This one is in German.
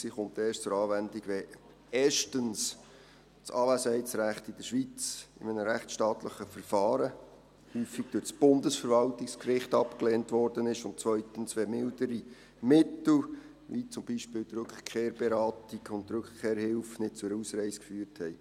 Sie kommt erst zur Anwendung, wenn erstens das Anwesenheitsrecht in der Schweiz in einem rechtsstaatlichen Verfahren, häufig durch das Bundesverwaltungsgericht, abgelehnt worden ist, und zweitens, wenn mildere Mittel, wie zum Beispiel die Rückkehrberatung und die Rückkehrhilfe, nicht zur Ausreise geführt haben.